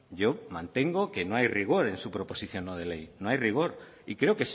yo mantengo que no hay rigor en su proposición no de ley no hay rigor y creo